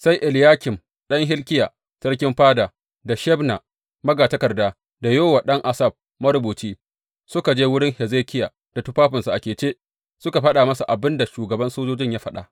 Sai Eliyakim ɗan Hilkiya, sarkin fada, da Shebna magatakarda, da Yowa ɗan Asaf, marubuci, suka je wurin Hezekiya da tufafinsu a kece, suka faɗa masa abin da shugaban sojojin ya faɗa.